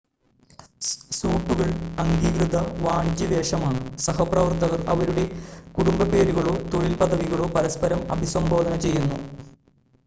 സ്യൂട്ടുകൾ അംഗീകൃത വാണിജ്യ വേഷമാണ് സഹപ്രവർത്തകർ അവരുടെ കുടുംബപ്പേരുകളോ തൊഴിൽ പദവികളോ പരസ്പരം അഭിസംബോധന ചെയ്യുന്നു